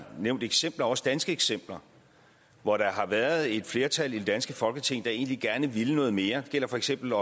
nævnt eksempler også danske eksempler hvor der har været et flertal i det danske folketing der egentlig gerne ville noget mere det gælder for eksempel